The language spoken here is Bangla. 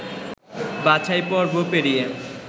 বাছাই পর্ব পেরিয়ে